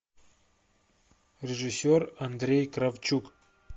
режиссер андрей кравчук